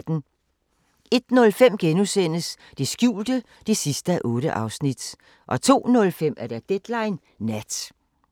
01:05: Det skjulte (8:8)* 02:05: Deadline Nat